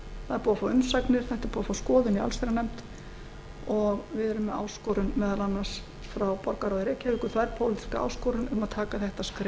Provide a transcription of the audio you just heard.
það er búið að fá umsagnir þetta er búið að fá skoðun í allsherjarnefnd og við erum með áskorun meðal annars frá borgarráði reykjavíkur þverpólitíska áskorun um að taka þetta skref